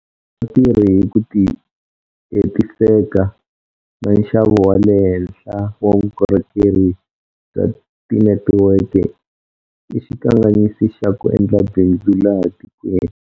Ku nga tirhi hi ku ti hetiseka na nxavo wa le henhla wa vukorhokeri bya tinetiweke i xikanganyisi xa ku endla bindzu laha tikweni.